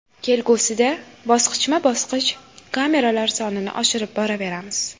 Kelgusida bosqichma-bosqich kameralar sonini oshirib boraveramiz.